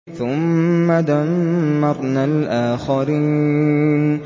ثُمَّ دَمَّرْنَا الْآخَرِينَ